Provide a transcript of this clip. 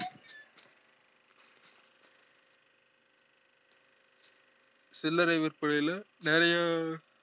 சில்லறை விற்பனைல நெறையா